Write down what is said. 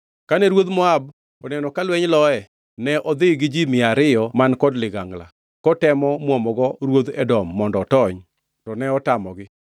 Kane ruodh Moab oneno ka lweny loye, ne odhi gi ji mia abiriyo man kod ligangla, kotemo muomogo ruodh Edom mondo otony; to ne otamogi.